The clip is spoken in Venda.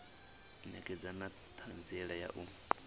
ṋekedza na ṱhanziela ya u